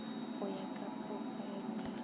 go ya ka porofaele ya